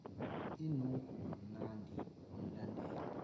inuka kamnandi wamlandela